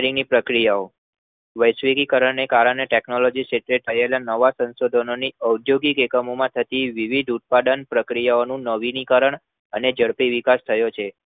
તેની પ્રક્રિયાઓ વૈશ્વિકીકરણ ને કારણે Technology ક્ષેત્રે થયેલા નવા સંશોધનોની અદ્યોગિક એકમોમાંથતી વિવિધ ઉત્પાદન પ્રક્રિયાઓનું નવીનીકરણ અને ઝડપી વિકાસ થયો છે